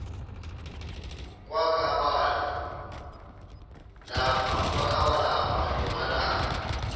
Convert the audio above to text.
kwakaba lapha nemalana